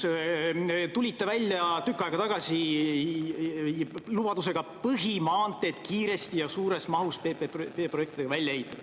Te tulite tükk aega tagasi välja lubadusega põhimaanteed kiiresti ja suures mahus PPP-projektide abil välja ehitada.